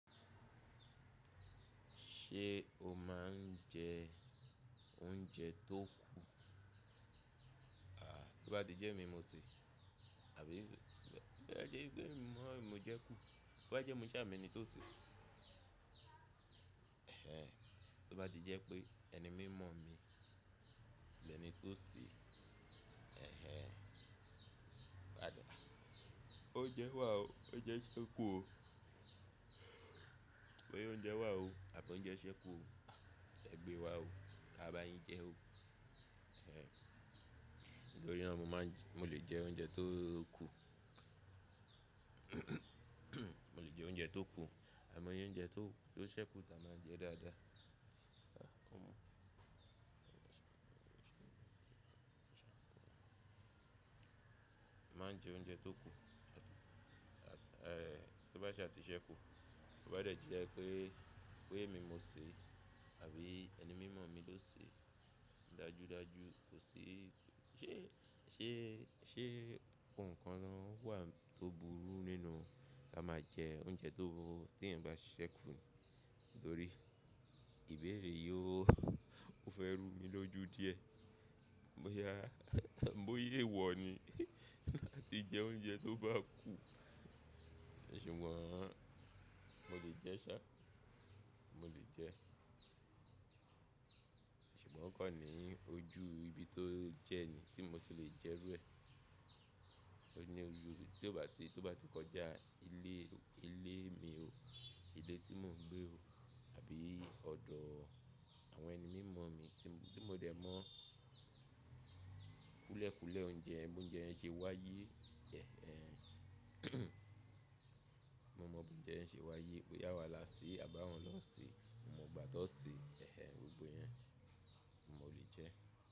Ṣé o máa ń jẹ oúnjẹ tó kù? À, bí ó bá ti jẹ́ emi ni mo ṣe, àbí bí ó bá jẹ́ pé èmi naa ni mo jẹ kú, bí ó bá jẹ́ mo ṣá mo eni tó sè é. Ẹ̀hẹn, tó bá ti jẹ́ pé ẹni mímọ̀ mi ni ẹni tó sè é, ẹ̀hẹn, pada. Óunjẹ́ wá o, óunjẹ́ ṣẹ́ kú o. Pé óunjẹ wá o àbí óunjẹ ṣẹ́ kú o. Ẹ gbé wá o, ká bá yín jẹ o. Ẹ̀hẹn, nítorí náà mo máa ń jẹ́, mo lè jẹ oúnjẹ tó kú. Mo lè jẹ oúnjẹ tó kú àimọ́ iye oúnjẹ tó, tó ṣẹ́ kú ta máa jẹ dáadáa. Mo má ń jẹ oúnjẹ tó kú. Ẹ̀, tó bá ṣá ti ṣẹ́ kú, tó bá dẹ̀ ti je pé, pé èmi mo sè é àbí ẹni mímọ̀ mi ló sè é. Dájúdájú kò sí, ṣé, ṣé, ṣé ohun kan lọ wà tó burú nínú kí a máa jẹ oúnjẹ tó, tí ẹ̀yin bá ṣẹ́ kú nítorí ìbéèrè yó, ó fẹ́ rú mi lójú díẹ̀. Bo yá, boya ewọ̀ ni láti jẹ oúnjẹ tó bá kú. Ṣùgbọ́n mo lè jẹ ṣá, mo lè jẹ. Ṣùgbọ́n o kan ní ojú ibi tó jẹ́ẹ̀ni tí mo ti lè jẹ rú ẹ. O ní ojú tí ó bá ti, tí ó bá ti kọjá ilé, ilé mi o, ilé tí mò ń gbé o àbí ọ̀dọ̀ àwọn ẹni mímọ̀ mi tí, tí mo dẹ̀ mọ̀ kúlẹ̀ékúlẹ̀ ounje yen bóńjẹ ẹ ń ṣe wá yé. Ẹ̀hẹn, mo mọ̀ bóńjẹ ẹ ń ṣe wá yé, boya awá láṣẹ́ àbí àwọn lọ́ ṣe, mo mọ̀ gbà tó ṣe é, ẹ̀hẹn, gbogbo yẹn mo lè jẹ ẹ́.